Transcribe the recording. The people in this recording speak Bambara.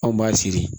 Anw b'a siri